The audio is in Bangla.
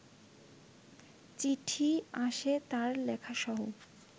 চিঠি আসে তাঁর লেখাসহ